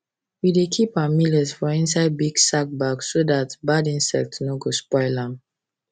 we dey keep our millet for inside big sack bag so that bad insect no go spoil am